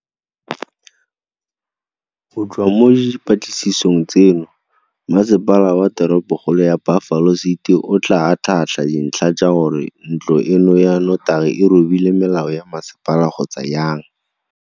Go tswa mo dipatlisisong tseno, Masepala wa Teropokgolo ya Buffalo City o tla atlhaatlha dintlha tsa gore ntlo eno ya notagi e robile melao ya masepala kgotsa jang.